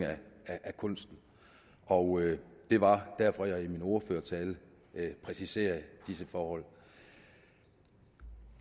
af kunsten og det var derfor jeg i min ordførertale præciserede disse forhold